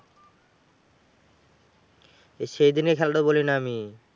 সেইদিনের খেলাটা বলিনি আমি?